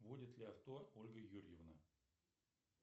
водит ли авто ольга юрьевна